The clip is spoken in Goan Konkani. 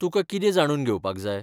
तुकां कितें जाणून घेवपाक जाय?